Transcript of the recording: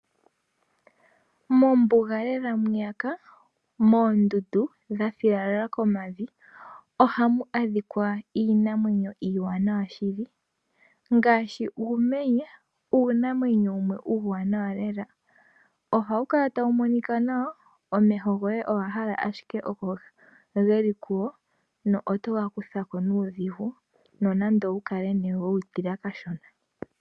Mombuga lela mwiyaka moondundu dhathiyalala komavi ohamu adhika iinamwenyo iiwanawa shili ngaashi uumenye uunamwenyo wumwe uuwanawa lela, ohawu kala tawu monika nawa omeho goye owahala ashike okogeli kuwo, no otoga kutha ko nuudhigu nonando owukale nee wewu tila kashona.